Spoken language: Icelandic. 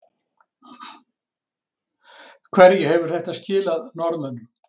Hverju hefur þetta skilað Norðmönnum?